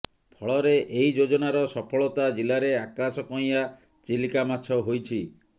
ଫଳରେ ଏହି ଯୋଜନାର ସଫଳତା ଜିଲାରେ ଆକାଶ କଇଁଆଁ ଚିଲିକା ମାଛ ହୋଇଛି